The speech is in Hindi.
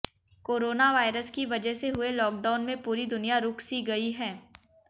कोरोना वायरस की वजह से हुए लॉकडाउन में पूरी दुनिया रुक सी गई है